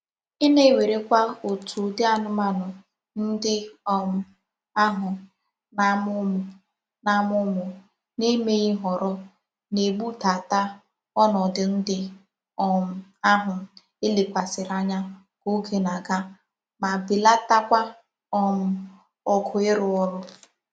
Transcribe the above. Ina -ewerekwa otu udi anumanu ndi um ahu na-amu umu na-amu umu n'emeghi nhoro na-egbudata onodu ndi um ahu elekwasiri anya ka oge na-aga ma belata kwa um ogo iru oru.